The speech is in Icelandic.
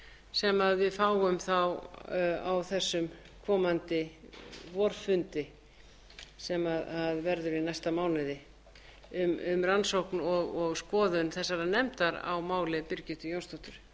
sem við fáum þá á þessum komandi vorfundi sem verður í næsta mánuði um rannsókn og skoðun þessarar nefndar á máli birgittu jónsdóttur